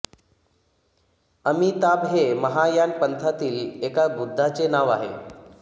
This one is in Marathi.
अमिताभ हे महायान पंथातील एका बुद्धाचे नाव आहे